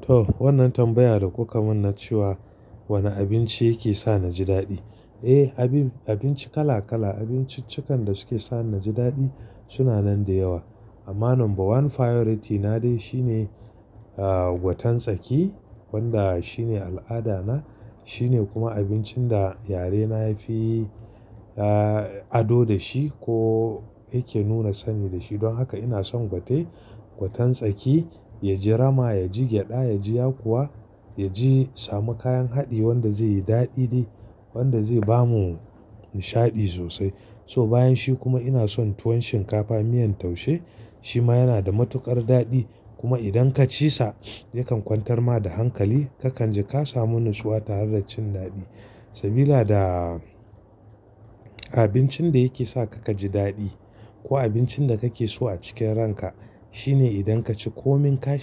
To wannan tambaya da kuka mun na cewa, wane abinci yake sa na ji daɗi? Eh, abin abinci kala kala abinciccikan da suke sa na ji daɗi suna nan da yawa. Amma number one priority na dai shine, ah, gwaten tsaki wanda shine al'ada na shine kuma abincin da yare na ya fi, ah, ado da shi ko yake nuna sani da shi. Don haka ina son gwate gwaten tsaki ya ji rama, ya ji gyaɗa, ya ji yakuwa ya ji samu kayan haɗi wanda zai yi daɗi dai wanda zai bamu nishaɗi sosai. So bayan shi kuma ina son tuwon shinkafa miyan taushe shi ma yana da matuƙar daɗi. Kuma idan ka ci sa yakan kwantar ma da hankali kakan ji ka samu natsuwa tare da cin daɗi. Sabila da abincin da yake sa ka ka ji daɗi ko abincin da kake so a cikin ranka to wannan tambaya da kuka mun cewa, wane abinci yake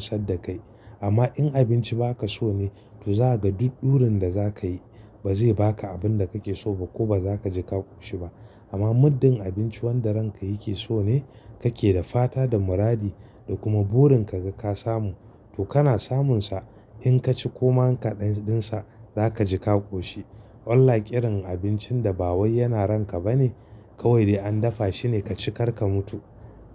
sa na ji daɗi? Amma in abinci ba ka so ne to za ka ga duk ɗurin da za ka yi ba zai ba ka abin da kake so ba ko ba za ka ji ka ƙoshi ba. Amma muddin abinci wanda ranka yake so ne kake da fata da muradi da kuma burin ka ga ka samu to kana samun sa. In ka ci koma kaɗan din sa za ka ji ka ƙoshi. Unlike irin abincin da ba wai yana ranka ba ne kawai dai an dafa shine ka ci kar ka mutu.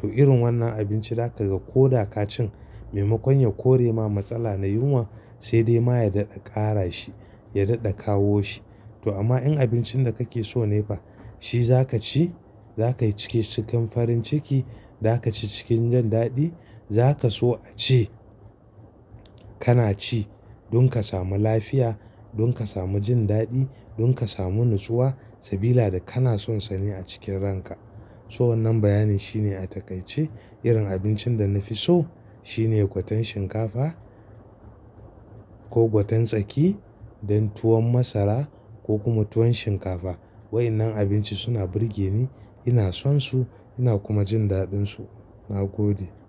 To irin wannan abinci da ka ga ko da ka cin maimakon ya kore ma matsala na yunwa sai dai ma ya daɗe ƙara shi, ya daɗe kawo shi. To amma in abincin da kake so ne fa shi za ka ci. Za ka yi ciki cikin farin ciki, za ka ci cikin jin daɗi. Za ka so a ci. Kana ci don ka samu lafiya, don ka samu jin daɗi, don ka samu natsuwa. Sabila da kana son sani a cikin ranka. So wannan bayanin shine a takaice irin abincin da na fi so shine gwaten shinkafa ko gwaten tsaki dan tuwon masara ko kuma tuwon shinkafa. Wa'inan abinci suna burge ni, ina son su ina kuma jin daɗin su. Na gode.